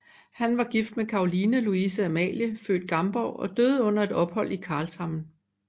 Han var gift med Caroline Louise Amalie født Gamborg og døde under et ophold i Karlshamn